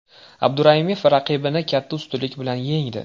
Abduraimov raqibini katta ustunlik bilan yengdi.